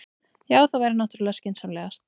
Já, það væri náttúrlega skynsamlegast.